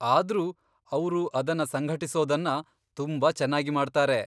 ಆದ್ರೂ ಅವ್ರು ಅದನ್ನ ಸಂಘಟಿಸೋದನ್ನ ತುಂಬಾ ಚೆನ್ನಾಗಿ ಮಾಡ್ತಾರೆ.